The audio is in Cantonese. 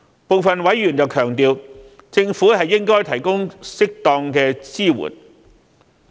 部分委員強調，政府應該提供適當支援。